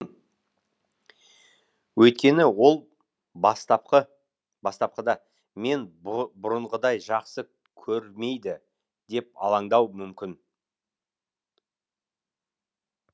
өйткені ол бастапқы бастапқыда мен бұрынғыдай жақсы көрмейді деп алаңдауы мүмкін